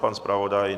Pan zpravodaj?